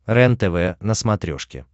рентв на смотрешке